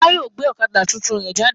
Ọlá yìí ó gbé ọ̀kadà tuntun rẹ jáde.